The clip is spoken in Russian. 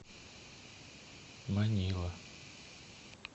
манила